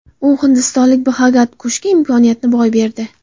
U hindistonlik Bxagat Kushga imkoniyatni boy berdi.